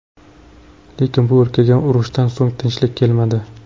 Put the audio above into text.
Lekin bu o‘lkaga urushdan so‘ng tinchlik kelmadi.